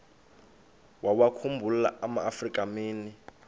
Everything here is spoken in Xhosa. wawakhumbul amaafrika mini